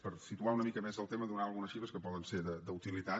per situar una mica més el tema donar algunes xifres que poden ser d’utilitat